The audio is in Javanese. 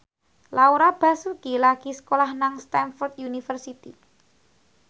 Laura Basuki lagi sekolah nang Stamford University